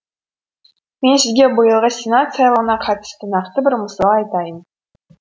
мен сізге биылғы сенат сайлауына қатысты нақты бір мысал айтайын